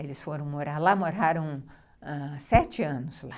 Eles foram morar lá, moraram ãh sete anos lá.